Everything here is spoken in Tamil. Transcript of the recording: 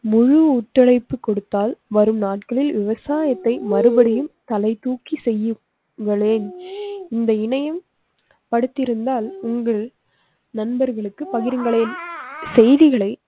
முழு ஒத்துழைப்பு கொடுத்தால் வரும் நாட்களில் விவசாயத்தை மறுபடியும் தலை தூக்கி செய்யுங்களேன் இந்த இணையம் படுத்தி இருந்தால் உங்கள் நண்பர்களுக்கு பகிருங்களேன். செய்திகளை